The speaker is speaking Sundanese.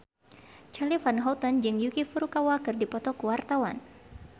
Charly Van Houten jeung Yuki Furukawa keur dipoto ku wartawan